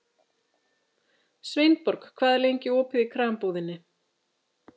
Sveinborg, hvað er lengi opið í Krambúðinni?